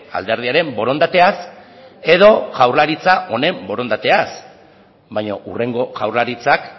alderdiaren borondateaz edo jaurlaritza honen borondateaz baina hurrengo jaurlaritzak